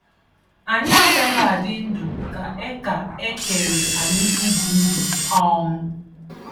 Anyị agaghị adị ndụ ka e ka e kere anyị ibi ndụ. um